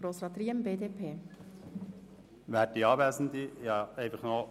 Ich möchte ein paar Zusatzgedanken formulieren.